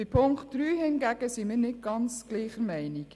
Bei Punkt 3 sind wir hingegen nicht ganz gleicher Meinung.